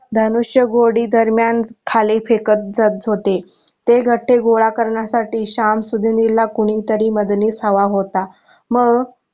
धनुष्यगोळी दरम्यान खाली फेकत जात होते ते गट्टे गोळा करण्यासाठी शमसुद्धीनील ला कोणी तरी मदणीस हवा होता.